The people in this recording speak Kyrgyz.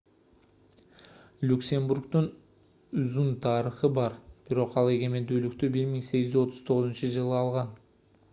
люксембургдун узун тарыхы бар бирок ал эгемендүүлүктү 1839-жылы алган